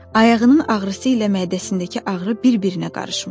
Ayağının ağrısı ilə mədəsindəki ağrı bir-birinə qarışmışdı.